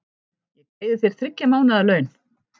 Ég greiði þér þriggja mánaða laun.